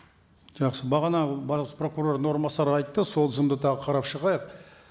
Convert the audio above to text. жақсы бағана бас прокурордың орынбасары айтты сол тізімді тағы қарап шығайық